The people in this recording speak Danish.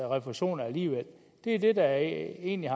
refusion alligevel det er det der egentlig